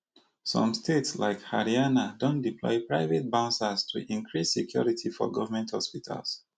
some states like haryana don deploy private bouncers to increase security for govment hospitals